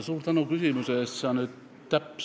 Suur tänu küsimuse eest!